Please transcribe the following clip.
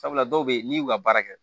Sabula dɔw be yen n'i y'u ka baara kɛ